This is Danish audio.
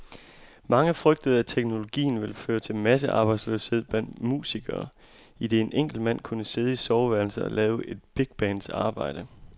Mange frygtede, at teknologien ville føre til massearbejdsløshed blandt musikere, idet en enkelt mand kunne sidde i soveværelset og lave et bigbands arbejde.